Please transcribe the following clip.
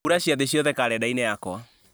hura ciathĩ ciothe karenda-inĩ yakwa